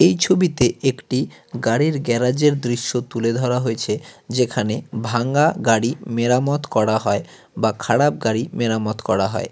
এই ছবিতে একটি গাড়ির গ্যারাজের দৃশ্য তুলে ধরা হয়েছে যেখানে ভাঙ্গা গাড়ি মেরামত করা হয় বা খারাপ গাড়ি মেরামত করা হয়।